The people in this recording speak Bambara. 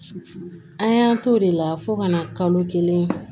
An y'an t'o de la fo ka na kalo kelen